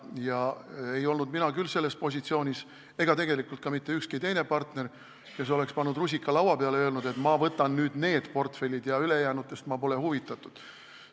Ja ei olnud mina küll selles positsioonis – ega tegelikult ka mitte ükski partner –, kes oleks pannud rusika lauale ja öelnud, et ma võtan nüüd need portfellid ja ülejäänutest pole ma huvitatud.